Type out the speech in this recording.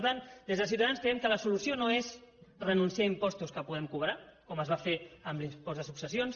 per tant des de ciutadans creiem que la solució no és renunciar a impostos que podem cobrar com es va fer amb l’impost de successions